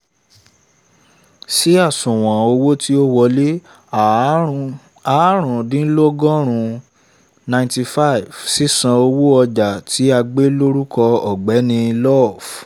sí àṣùwọ̀n owó tí ò wọlé áàrún áàrúndínlọ́gọ́rùn-ún ninety five sísanwó ọjà tí a gbé lórúkọ ọ̀gbẹ́ni love